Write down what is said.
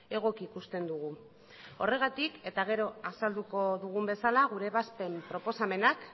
egoki ikusten dugu horregatik eta gero azalduko dugun bezala gure ebazpen proposamenak